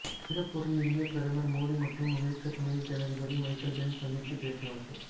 சிங்கப்பூரில் இந்திய பிரதமர் மோடி மற்றும் அமெரிக்க துணை ஜனாதிபதி மைக் பென்ஸ் சந்தித்து பேச்சுவார்த்தை